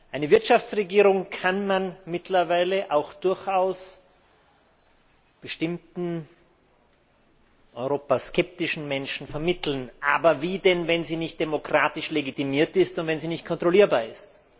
Eine Wirtschaftsregierung kann man mittlerweile auch durchaus bestimmten europaskeptischen Menschen vermitteln, aber wie denn, wenn sie nicht demokratisch legitimiert ist und wenn sie nicht kontrollierbar ist?